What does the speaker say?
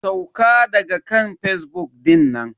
Sauka daga kan fazbuk dinnan.